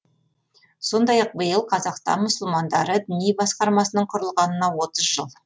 сондай ақ биыл қазақстан мұсылмандары діни басқармасының құрылғанына отыз жыл